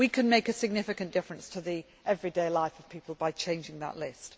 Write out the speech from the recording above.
We can make a significant difference to the everyday life of people by changing that list.